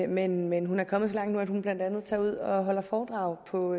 men men hun er kommet så langt nu at hun blandt andet tager ud og holder foredrag på